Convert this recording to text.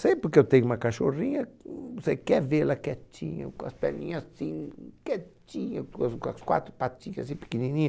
Sempre que eu tenho uma cachorrinha, você quer vê-la quietinha, com as perninhas assim, quietinha, com as quatro patinhas assim pequenininhas.